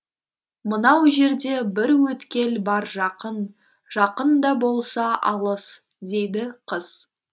мынау жерде бір өткел бар жақын жақын да болса алыс дейді қыз